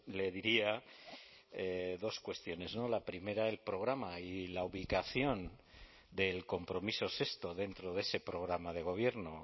le diría dos cuestiones la primera el programa y la ubicación del compromiso sexto dentro de ese programa de gobierno